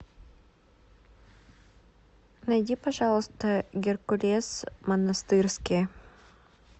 найди пожалуйста геркулес монастырский